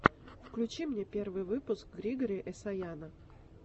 включи мне первый выпуск григори эсаяна